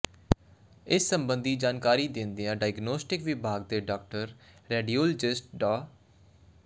ਇਸ ਸਬੰਧੀ ਜਾਣਕਾਰੀ ਦਿੰਦਿਆਂ ਡਾਇਗਨੋਸਟਿਕ ਵਿਭਾਗ ਦੇ ਡਾਕਟਰ ਰੇਡਿਓਲਜਿਸਟ ਡਾ